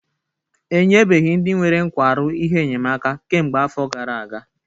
Enyebeghị ndị nwere nkwarụ ihe enyemaka kemgbe afọ gara aga